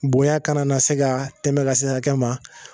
Bonya kana na se ka tɛmɛ ka se hakɛ ma